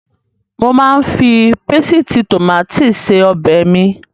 Mo máa ń fi pésìtì tòmátì se ọbẹ̀ mi.